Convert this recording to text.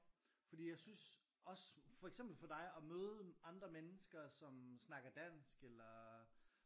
Fordi jeg synes også for eksempel for dig at møde andre mennesker som snakker dansk eller